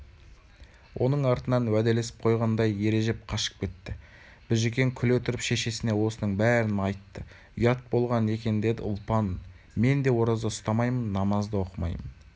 оның артынан уәделесіп қойғандай ережеп қашып кетті біжікен күле тұрып шешесіне осының бәрін айтты ұят болған екендеді ұлпан мен де ораза ұстамаймын намаз да оқымаймын